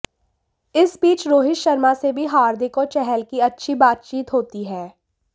इस बीच रोहित शर्मा से भी हार्दिक और चहल की अच्छी बातचीत होती है